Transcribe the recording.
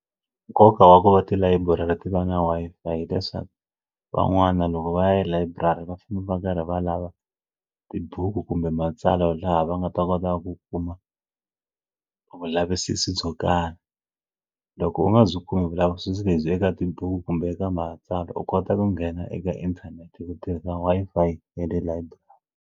Nkoka wa ku va tilayiburari ti va na Wi-Fi hileswaku van'wani loko va ya layiburari va famba va karhi va lava tibuku kumbe matsalwa laha va nga ta kota ku kuma vulavisisi byo karhi loko u nga byi kumi vulavisisi lebyi eka tibuku kumbe eka matsalwa u kota ku nghena eka inthanete hi ku tirhisa Wi-Fi ya le library.